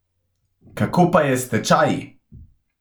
Kako pa je s stečaji?